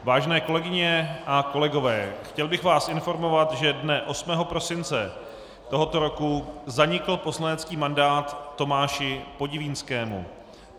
Vážené kolegyně a kolegové, chtěl bych vás informovat, že dne 8. prosince tohoto roku zanikl poslanecký mandát Tomáši Podivínskému.